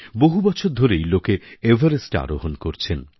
বহু বছর ধরেই লোকে এভারেস্টে আরোহণ করছেন